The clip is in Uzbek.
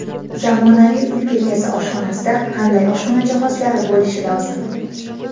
Zamonaviy uy bekasi oshxonasida qanday oshxona jihozlari bo‘lishi lozim?